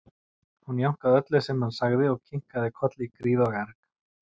Hún jánkaði öllu sem hann sagði og kinkaði kolli í gríð og erg.